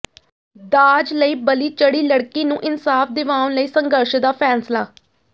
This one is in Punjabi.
ਦਾਜ ਲਈ ਬਲੀ ਚੜ੍ਹੀ ਲਡ਼ਕੀ ਨੂੰ ਇਨਸਾਫ਼ ਦਿਵਾਉਣ ਲਈ ਸੰਘਰਸ਼ ਦਾ ਫ਼ੈਸਲਾ